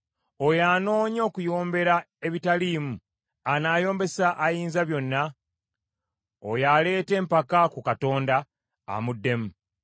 “Oyo anoonya okuyombera ebitaliimu anaayombesa Ayinzabyonna? Oyo aleeta empaka ku Katonda, amuddemu.”